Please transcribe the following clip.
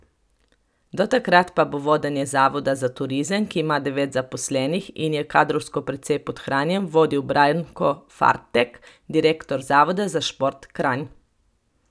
Do takrat pa bo vodenje zavoda za turizem, ki ima devet zaposlenih in je kadrovsko precej podhranjen, vodil Branko Fartek, direktor Zavoda za šport Kranj.